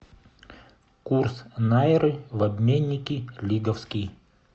курс найры в обменнике лиговский